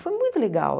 Foi muito legal.